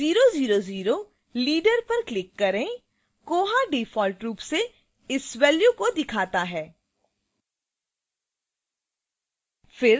000 leader पर click करें koha default रूप से इस value को दिखाता है